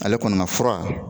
Ale kɔni ka fura